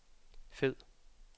fed